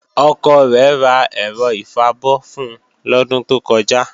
Ọkọ rẹ̀ ra ẹ̀rọ ìfabọ́ fun lọ́dún tó kọjá